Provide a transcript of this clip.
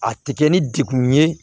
A tɛ kɛ ni degun ye